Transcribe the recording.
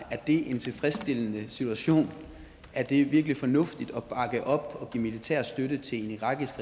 er en tilfredsstillende situation er det virkelig fornuftigt at bakke op og give militær støtte til en irakisk